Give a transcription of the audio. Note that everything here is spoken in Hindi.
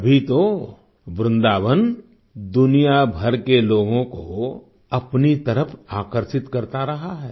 तभी तो वृंदावन दुनिया भर के लोगों को अपनी तरफ आकर्षित करता रहा है